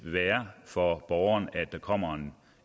være for borgeren at der kommer